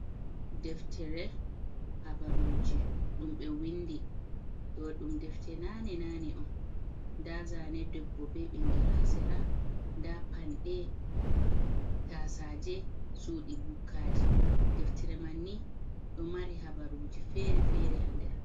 Deftere habaruji dum be windi, ɗo dum deftere nane - nane on, da zane debbo be ɓingel ha sera, da panɗe, tasaje, suɗi bukkaji, deftere man ni do mari habaruji fere-fere hander.